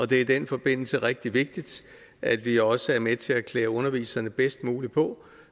det er i den forbindelse rigtig vigtigt at vi også er med til at klæde underviserne bedst muligt på